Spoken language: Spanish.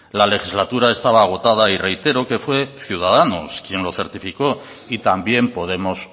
la legislatura estaba agotada y reitero que fue ciudadanos quien lo certificó y también podemos